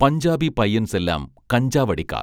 പഞ്ചാബി പയ്യൻസെല്ലാം കഞ്ചാവടിക്കാർ